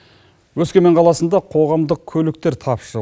өскемен қаласында қоғамдық көліктер тапшы